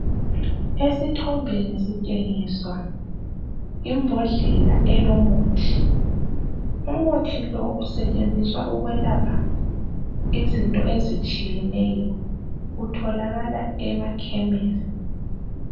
Esithombeni sitshengiswa imbodlela elomuthi umuthi lo usetshenziswa ukwelapha izinto ezitshiyeneyo utholakala emakhemesi.